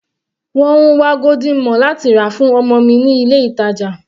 Mò ń wá golden morn láti rà fún ọmọ mi ní ilé ìtàjà.